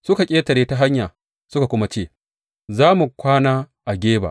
Suka ƙetare ta hanya, suka kuma ce, Za mu kwana a Geba.